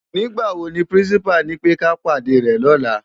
Nigbá wó ni pirinsipá nipè ká pádé rè lòlá?